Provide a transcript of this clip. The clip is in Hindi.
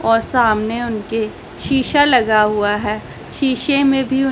और सामने उनके शीशा लगा हुआ है शीशे में भी उन--